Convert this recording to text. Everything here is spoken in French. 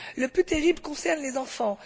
Le plus terrible concerne les enfants.